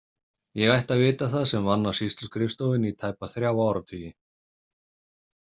Ég ætti að vita það sem vann á sýsluskrifstofunni í tæpa þrjá áratugi.